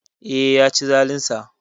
Eh, Yaci zalinsa